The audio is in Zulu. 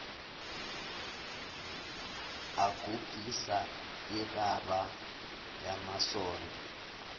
agugisa irabha yamasondo